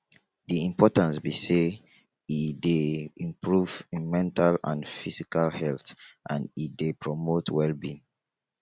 di importance be say e dey improve mental and physical health and e dey promote wellbeing